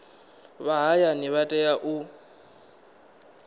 vha hayani vha tea u